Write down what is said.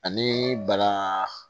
Ani bana